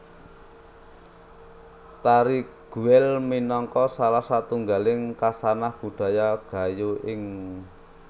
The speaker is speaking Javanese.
Tari Guel minangka salah satunggaling khasanah budaya Gayo ing